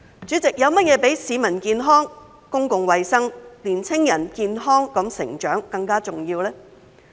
主席，有甚麼比市民健康、公共衞生、年輕人健康成長更加重要呢？